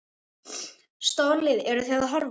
Stórlið, eru Þið að horfa?